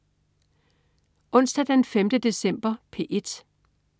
Onsdag den 5. december - P1: